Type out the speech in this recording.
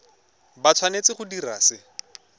ba tshwanetse go dira se